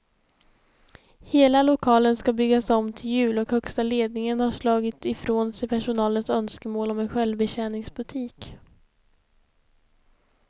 Hela lokalen ska byggas om till jul och högsta ledningen har slagit ifrån sig personalens önskemål om en självbetjäningsbutik.